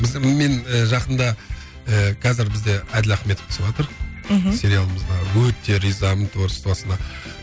біз мен жақында ыыы қазір бізде әділ ахметов түсіватыр мхм сериалымызға өте ризамын творчествосына